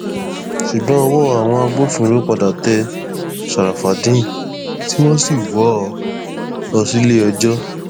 ṣùgbọn ọwọ àwọn agbófinró padà tẹ ṣàràfàdéèn tí wọn sì wọ ọ lọ síléẹjọ